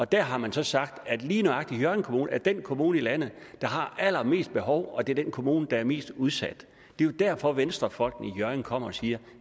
der har man så sagt at lige nøjagtig hjørring kommune er den kommune i landet der har allermest behov og at det er den kommune der er mest udsat det er jo derfor at venstrefolkene i hjørring kommer og siger